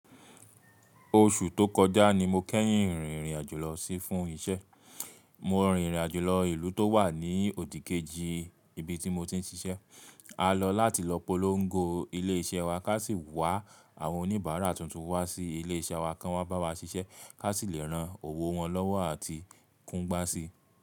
Oṣù tó kọjá ni mo kẹ́yìn rìnrìn àjò lọ sí fún isẹ́. Mo rin ìrìn àjò lọ ìlú tó wà ní òdì kejì ibi tí mo ti ń ṣiṣẹ́. A lọ láti lọ polongo ilé iṣẹ́ wa ká sì wá àwọn oníbàárà tuntun wá sí ilé iṣẹ́ wa kí wọ́n wa bá wa ṣiṣẹ́, ká sì lè rán òwò wọn lọ́wọ́ àti kúngbá sí.